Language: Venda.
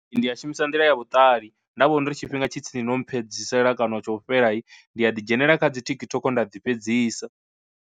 Ndi a shumisa nḓila ya vhuṱali nda vhona uri tshifhinga tshi tsini no mphe fhedzisela kana tsho fhela ndi a ḓi dzhenelela kha dzi TikTok nda dzi fhedzisa.